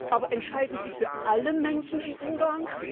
Aber entscheiden Sie für alle Menschen in Ungarn?